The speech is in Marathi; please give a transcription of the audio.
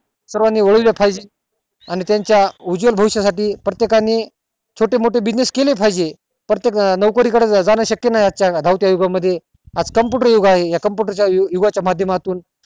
सर्वानी खाली आणि त्याच्या उज्वल भविष्या साठी प्रत्येकाने छोटे मोठे business केले पाहिजे प्रत्येकाला नोकरी कडे जण शक्य नाय आज च्या धावत्या उगा मध्ये आज computer युग आहे या computer च्या उगा च्या माध्य मातुन